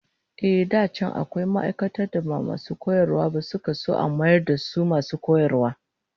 Ehh, da can akwai ma'aikatan da ba masu koyarwa ba da suka so a mayar da su masu koyarwa